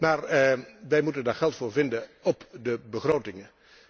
Maar wij moeten daar geld voor vinden op de begrotingen.